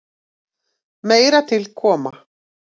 Meira til koma.